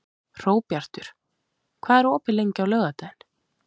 Hróbjartur, hvað er opið lengi á laugardaginn?